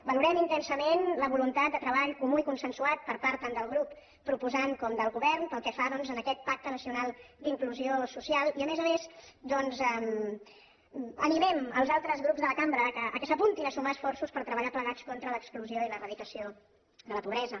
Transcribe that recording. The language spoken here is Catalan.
valorem intensament la voluntat de treball comú i consensuat per part tant del grup proposant com del govern pel que fa doncs a aquest pacte nacional d’inclusió social i a més a més animem els altres grups de la cambra que s’apuntin a sumar esforços per treballar plegats contra l’exclusió i l’eradicació de la pobresa